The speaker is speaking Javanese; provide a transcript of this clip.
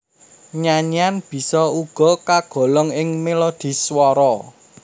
Nyanyian bisa uga kagolong ing melodhi swara